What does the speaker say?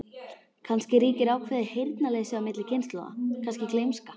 Kannski ríkir ákveðið heyrnarleysi á milli kynslóða, kannski gleymska.